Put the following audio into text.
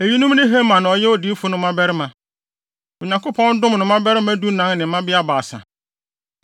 Eyinom ne Heman a ɔyɛ ɔhene diyifo no mmabarima. Onyankopɔn dom no mmabarima dunan ne mmabea baasa.